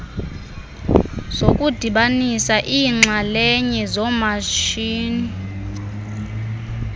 nokudibanisa iinxalenye zoomatshini